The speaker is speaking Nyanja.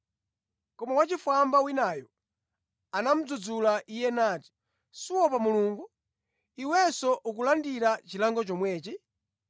Koma wachifwamba winayo anamudzudzula iye nati, “Suopa Mulungu, iwenso ukulandira chilango chomwechi?